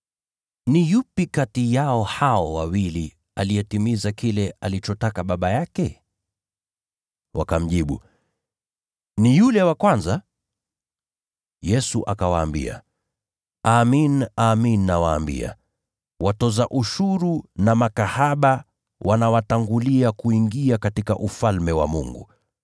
“Ni yupi kati yao hao wawili aliyetimiza kile alichotaka baba yake?” Wakamjibu, “Ni yule wa kwanza.” Yesu akawaambia, “Amin, amin nawaambia, watoza ushuru na makahaba wanawatangulia kuingia katika Ufalme wa Mungu.